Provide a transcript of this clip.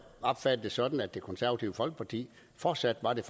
opfattet det sådan at det konservative folkeparti fortsat er det